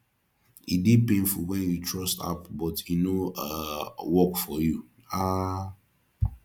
e dey painful wen you trust app but e no um work for you um